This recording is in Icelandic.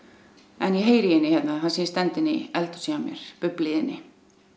en ég heyri í henni þar sem ég stend inni í eldhúsi hjá mér bubblið í henni